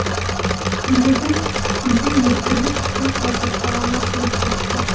көйлегін көлбең еткізіп тез басып далаға шығып кетті